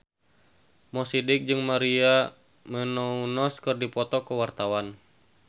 Mo Sidik jeung Maria Menounos keur dipoto ku wartawan